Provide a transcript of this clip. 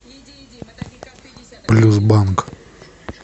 плюс банк